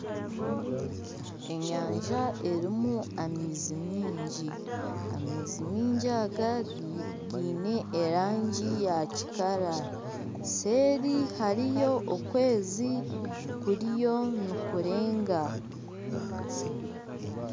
Enyanja erimu amaizi miingi, amaizi aga giine erangi ya kikara seeri hariyo okwezi kuriyo nikurenga.